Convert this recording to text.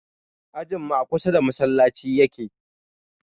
Ajinmu a kusa da masallaci yake